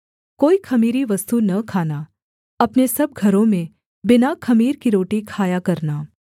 कोई ख़मीरी वस्तु न खाना अपने सब घरों में बिना ख़मीर की रोटी खाया करना